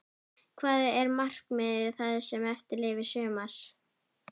Hvað er markmiðið það sem eftir lifir sumars?